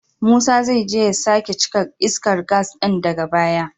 Musa zai je ya sake cika iskar gas din daga baya.